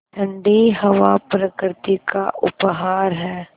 ठण्डी हवा प्रकृति का उपहार है